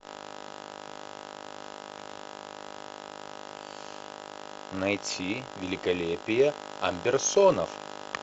найти великолепие амберсонов